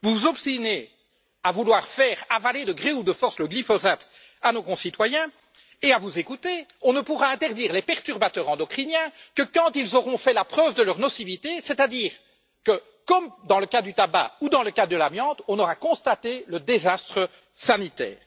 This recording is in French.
Vous vous obstinez à vouloir faire avaler de gré ou de force le glyphosate à nos concitoyens et, à vous écouter, on ne pourra interdire les perturbateurs endocriniens que quand ils auront fait la preuve de leur nocivité, c'est à dire, comme dans le cas du tabac ou dans celui de l'amiante, quand on aura constaté le désastre sanitaire.